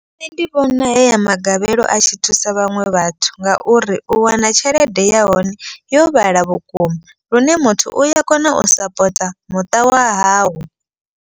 Nṋe ndi vhona heya magavhelo a tshi thusa vhaṅwe vhathu. Ngauri u wana tshelede ya hone yo vhala vhukuma lune muthu uya kona u sapota muṱa wa hawe.